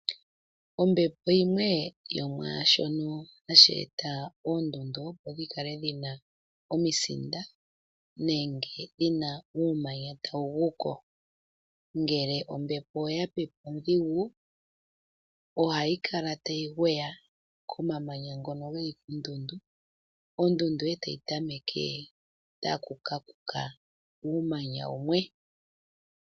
Ombepo yimwe yomwashono hashi eta oondundu opo dhikale dhina omisinda nenge uumanya tawu guko .Ngele ombepo oya pepe ondhigu ohayi kala tayi ngweya komamanya ngono geli koondundu, ondundu etayi tameke taku kakuka uumanya wumwe.